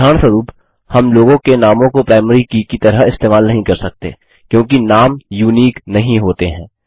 उदाहरणस्वरुप हम लोगों के नामों को प्राइमरी की की तरह इस्तेमाल नहीं कर सकते क्योंकि नाम यूनिक अद्वितीय नहीं होते हैं